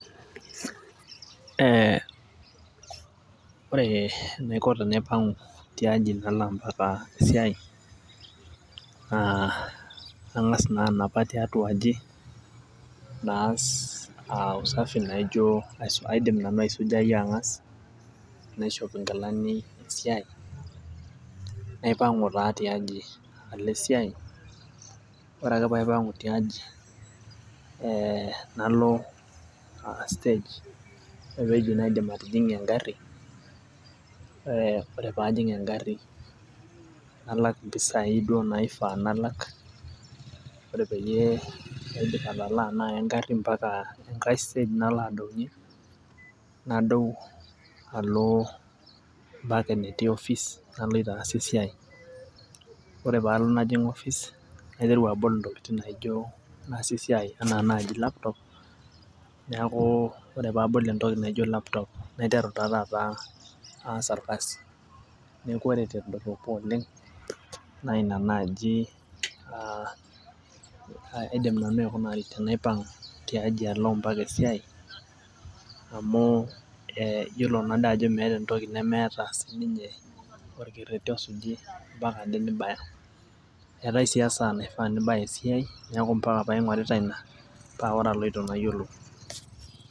Ee ore enaiko tenaipang'u tiaji pee alo esiai naa kang'as naa anapa tiatua aji, naas usafi naijo kaidim nanu aisujayu ang'as naishop nkilani esiai, naipang'u taa tiaji alo esiai ore ake pee aipang'u tiaji, ee nalo aa stage ore teine naidim atijing'a egari ee ore pee ajing egari nalak mpisai duo naifaa nalak. ore peyie aidip atalaa egari mpaka enkae stage nalo adoiki. nadou alo mpaka enetii office naloito aas esiai. ore pee adou najing' office naiteru abol intokitin naijo naaasie esiai anaa naaji laptop .neeku ore pee abol entoki naijo laptop naiteru taa taata aas orkasi, neeku ore tedoropo oleng, naa Ina naaji aa aidim nanu aikunari tenaipang'u tiatua aji alo mpaka esiai .amu iyiolo naado ajo meeta entoki nemeeta sii ninye orkeretk osujo mpaka Ade nibaya. eetae sii esaa naifaa nibaya esiai, neeku mpaka pee aing'orita Ina paa ore abaya niyiolou.